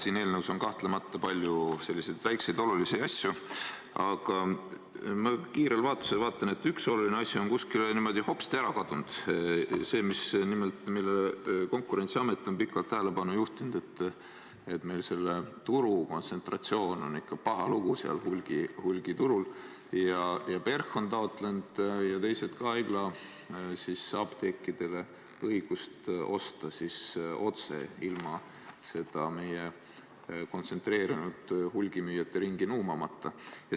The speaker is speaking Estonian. Siin eelnõus on kahtlemata palju selliseid väikseid olulisi asju, aga ma kiirel vaatlusel vaatan, et üks oluline asi on kuskile niimoodi hopsti ära kadunud – see, millele Konkurentsiamet on pikalt tähelepanu juhtinud, et meil selle turu kontsentratsiooniga on ikka paha lugu seal hulgiturul ja et PERH ja ka teised on taotlenud haigla apteekidele õigust osta otse ilma meie kontsentreerunud hulgimüüjate ringi nuumamata.